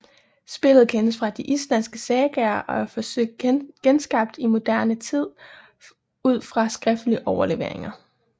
Spillet kendes fra de islandske sagaer og er forsøgt genskabt i moderne tid ud fra skriftlige overleveringer